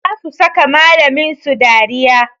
Za su saka malamin su dariya